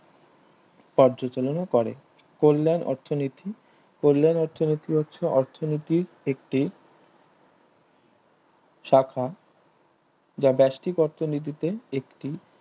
পর্যতুলনা করে কল্যাণ অর্থনীতি কল্যাণ অর্থনীতি হচ্ছে আর্থিনীতির একটি শাখা যা বেস্তিক অর্থনীতিতে একটি